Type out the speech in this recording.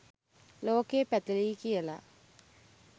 ලෝකය පැතලියි කියල